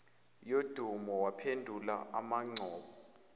yodumo waphendula umangcobo